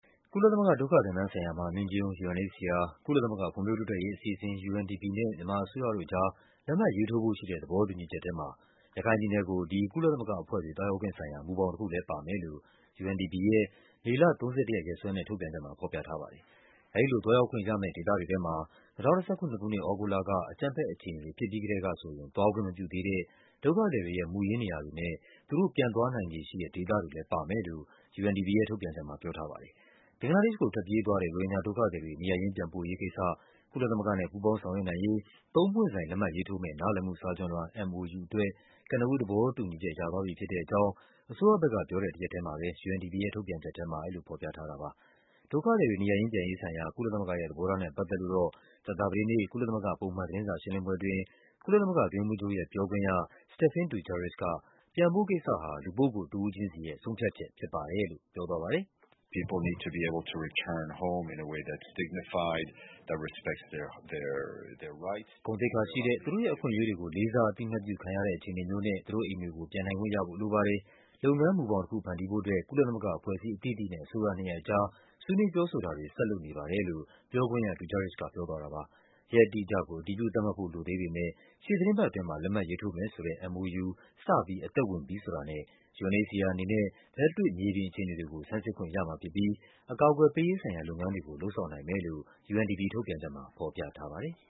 ကုလသမဂ္ဂဒုက္ခသည်များဆိုင်ရာ မဟာမင်းကြီးရုံး (UNHCR)၊ ကုလသမဂ္ဂဖွံ့ဖြိုးတိုးတက်ရေးအစီအစဉ် (UNDP) နဲ့ မြန်မာအစိုးရ တို့ကြား လက်မှတ်ရေးထိုးဖို့ရှိတဲ့ သဘောတူညီချက်ထဲမှာ ရခိုင်ပြည်နယ်ကို ဒီကုလသမဂ္ဂအဖွဲ့တွေ သွားရောက်ခွင့်ဆိုင်ရာ မူဘောင်တခုလည်း ပါမယ်လို့ UNDP ရဲ့ မေလ ၃၁ ရက် ရက်စွဲနဲ့ ထုတ်ပြန်ချက်မှာ ဖော်ပြထားပါတယ်။ အဲဒီလိုသွားရောက်ခွင့်ရမယ့် ဒေသတွေထဲမှာ ၂၀၁၇ ခုနှစ်၊ သြဂုတ်လက အကြမ်းဖက်အခြေအနေတွေ ဖြစ်ပြီးကတည်းကဆိုရင် သွားခွင့်မပြုသေးတဲ့ ဒုက္ခသည်တွေရဲ့ မူရင်းနေရာတွေနဲ့ သူတို့ပြန်သွားနိုင်ခြေရှိတဲ့ ဒေသတွေလည်းပါမယ်လို့ UNDP ရဲ့ ထုတ်ပြန်ချက်မှာ ပြောထားပါတယ်။ ဘင်္ဂလားဒေ့ရှ်ကိုထွက်ပြေးသွားတဲ့ ရိုဟင်ဂျာဒုက္ခသည်တွေ နေရပ်ရင်းပြန်ပို့ရေးကိစ္စ ကုလသမဂ္ဂနဲ့ ပူးပေါင်းဆောင်ရွက်နိုင်ရေး သုံးပွင့်ဆိုင် လက်မှတ်ရေးထိုးမယ့် နားလည်မှုစာချွန်လွှာ (MoU) အတွက် ကနဦးသဘောတူညီချက် ရသွားပြီဖြစ်တဲ့အကြောင်း အစိုးရဘက်ကပြောတဲ့ တရက်ထဲမှာပဲ UNDP ရဲ့ ထုတ်ပြန်ချက်ထဲမှာ အဲဒီလိုဖော်ပြထားတာပါ။ ဒုက္ခသည်တွေ နေရပ်ရင်းပြန်ရေးဆိုင်ရာ ကုလသမဂ္ဂရဲ့ သဘောထားနဲ့ပတ်သက်လို့တော့ ကြာသပတေးနေ့ ကုလသမဂ္ဂ ပုံမှန် သတင်းစာရှင်းလင်းပွဲအတွင်း ကုလသမဂ္ဂအတွင်းရေးမှူးချုပ်ရဲ့ပြောခွင့်ရ Stéphane Dujarric က ပြန်ဖို့ကိစ္စဟာ လူပုဂ္ဂိုလ်တဦး ချင်းစီရဲ့ ဆုံးဖြတ်ချက်ဖြစ်ပါတယ်လို့ ပြောသွားပါတယ်။ “ဂုဏ်သိက္ခာရှိတဲ့၊ သူတို့ရဲ့အခွင့်အရေးတွေကို လေးစားအသိအမှတ်ပြုခံရတဲ့ အခြေအနေမျိုးနဲ့ သူတို့ရဲ့အိမ်တွေကို ပြန်နိုင် ခွင့်ရဖို့လိုပါတယ်။ လုပ်ငန်းမူဘောင်တခု ဖန်တီးဖို့အတွက် ကုလသမဂ္ဂအဖွဲ့အစည်းအသီးသီးနဲ့ အစိုးရနှစ်ရပ်အကြား ဆွေးနွေး ပြောဆိုတာတွေ ဆက်လုပ်နေပါတယ်။” လို့ ပြောခွင့်ရ Dujarric ကပြောသွားတာပါ။ ရက်အတိအကျကို အတည်ပြု သတ်မှတ်ဖို့လိုသေးပေမဲ့ ရှေ့သီတင်းပတ်အတွင်းမှာ လက်မှတ်ရေးထိုးမယ်ဆိုတဲ့ MoU စပြီး အသက်ဝင်ပြီဆိုတာနဲ့ UNHCR အနေနဲ့ လက်တွေ့မြေပြင်အခြေအနေတွေကို ဆန်းစစ်ခွင့်ရမှာဖြစ်ပြီး အကာအကွယ်ပေးရေး ဆိုင်ရာ လုပ်ငန်းတွေကို လုပ်ဆောင်နိုင်မယ်လို့ UNDP ထုတ်ပြန်ချက်မှာ ဖော်ပြထားပါတယ်။